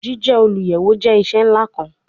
Jije oluyẹwo jẹ iṣẹ nla kan